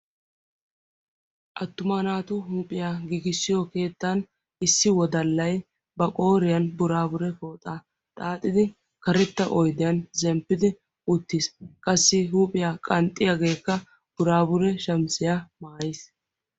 attuma naatu huuphiyaa gigissiyo keettan issi wodallay ba qooriyan buraabure pooxaa xaaxidi karetta oydiyan zemppidi uttiis qassi huuphiyaa qanxxiyaageekka buraabure shamisiyaa maayiis